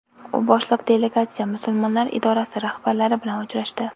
U boshliq delegatsiya Musulmonlar idorasi rahbarlari bilan uchrashdi.